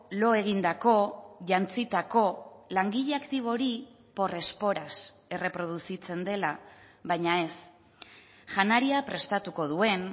lo egindako jantzitako langile aktibo hori por esporas erreproduzitzen dela baina ez janaria prestatuko duen